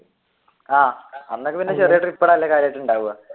ആഹ് അന്നൊക്കെ ചെറിയ ട്രിപ്പുകൾ അല്ലെ കാര്യമായിട്ട് ഉണ്ടാവുക?